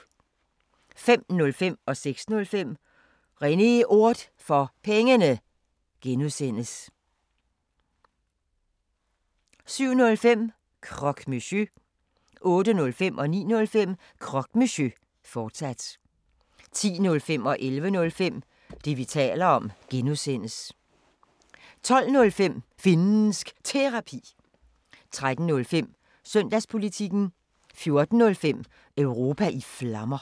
05:05: René Ord For Pengene (G) 06:05: René Ord For Pengene (G) 07:05: Croque Monsieur 08:05: Croque Monsieur, fortsat 09:05: Croque Monsieur, fortsat 10:05: Det, vi taler om (G) 11:05: Det, vi taler om (G) 12:05: Finnsk Terapi 13:05: Søndagspolitikken 14:05: Europa i Flammer